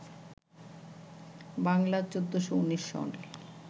বাংলা ১৪১৯ সাল